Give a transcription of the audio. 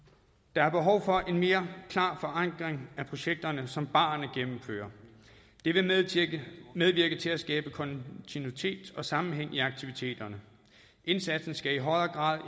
der er behov for en mere klar forankring af projekterne som barerne gennemfører det vil medvirke til at skabe kontinuitet og sammenhæng i aktiviteterne indsatsen skal i højere grad